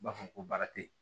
U b'a fɔ ko baara te yen